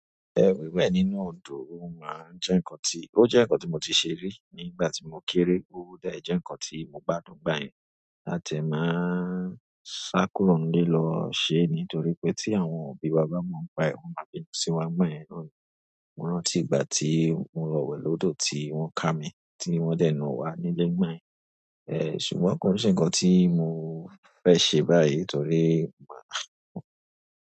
Ẹ̀ wíwẹ̀ nínú odò ó máa ń jẹ́ nǹkan tí, ó jẹ́ nǹkan tí mo ti ṣe rí nígbà tí mo kéré, ó dá ẹ jẹ́ nǹkan tí mo gbádùn gbáyẹn Ati e máa ń sákúrò nílé lọ ṣe nítorí pé tí àwọn òbí wa bàa máa ń pa ẹ, wọ́n máa bínú sí wa ìgbayen noni. Mo rántí ìgbà tí mo lowẹ́ lódò tí wọ́n kà mí tí wọ́n dẹ̀ na wa nílé gbàyẹn. Ṣùgbọ́n kò n se ǹkan tí mo fẹ́ ṣe báyìí torí.